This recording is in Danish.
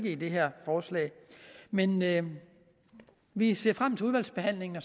i det her forslag men men vi ser frem til udvalgsbehandlingen og